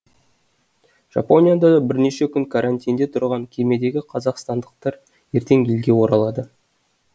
жапонияда бірнеше күн карантинде тұрған кемедегі қазақстандықтар ертең елге оралады